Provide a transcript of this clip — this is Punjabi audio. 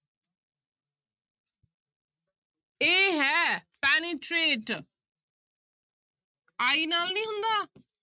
a ਹੈ penetrate i ਨਾਲ ਨੀ ਹੁੰਦਾ।